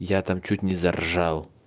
я там чуть не заржал